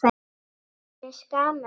Mér finnst gaman að leira.